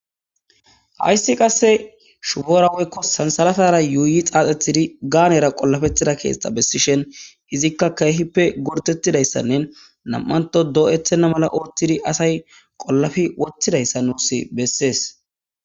hayssi qasse shuboora woykko sansalatara yuuyi xaaxetidi gaanera qollafethida keesta bessishen hizikka keehippe gortettidayssannen nam'anto doo7ethenna mala oothtidi asay qollafi wottidayssa nuusi bessees